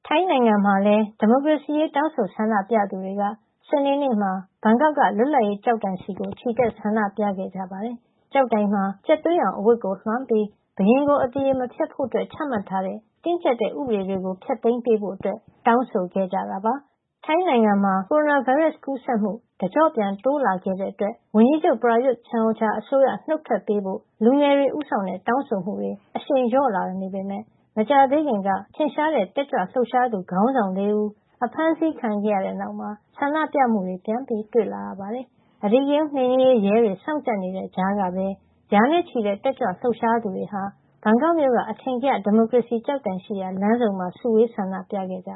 ိုင်းနိုင်ငံမှာ ဒီမိုကရေစီရေး တောင်းဆိုဆန္ဒပြသူတွေက စနေနေ့မှာ ဘန်ကောက်က လွတ်လပ်ရေးကျောက်တိုင်ဆီ ချီတက် ဆန္ဒပြခဲ့ကြပါတယ်။ ကျောက်တိုင်မှာ ကြက်သွေးရောင်အဝတ်ကို လွှမ်းပြီး ဘုရင်ကို အသရေမဖျက်ဖို့ ချမှတ်ထားတဲ့ တင်းကျပ်တဲ့ ဥပဒေတွေ ဖျက်သိမ်းပေးဖို့ တောင်းဆိုခဲ့ကြတာပါ။ ထိုင်းနိုင်ငံမှာ ကိုရိုနာဗိုင်းရပ်စ် ကူးစက်မှု တကျော့ပြန် တိုးလာခဲ့တာကြောင့် ဝန်ကြီးချုပ် Prayut Chan-O-Cha အစိုးရ နုတ်ထွက်ပေးဖို့ လူငယ်တွေဦးဆောင်တဲ့ တောင်းဆိုမှုတွေ အရှိန်လျော့လာနေပေမယ့် မကြာသေးခင်က ထင်ရှားတဲ့ တက်ကြွလှုပ်ရှားသူ ခေါင်းဆောင် ၄ ဦး အဖမ်းဆီးခံခဲ့ရတဲ့နောက်မှာ ဆန္ဒပြမှုတွေ ပြန်တွေ့လာရပါတယ်။ အဓိကရုဏ်းနှိမ်နင်းရေး ရဲတွေ စောင့်ကြပ်နေတဲ့ကြားကပဲ ရာနဲ့ချီတဲ့ တက်ကြွလှုပ်ရှားသူတွေဟာ ဘန်ကောက်မြို့က အထင်ကရ ဒီမိုကရေစီ ကျောက်တိုင်ရှိရာ လမ်းဆုံမှာ စုဝေး ဆန္ဒပြခဲ့ကြ